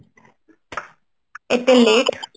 ଏତେ late